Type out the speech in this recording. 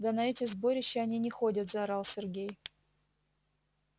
да на эти сборища они не ходят заорал сергей